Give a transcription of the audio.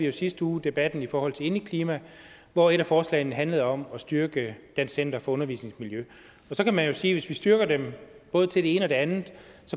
i sidste uge debatten i forhold til indeklima hvor et af forslagene handlede om at styrke dansk center for undervisningsmiljø så kan man jo sige at hvis vi styrker dem i både det ene og det andet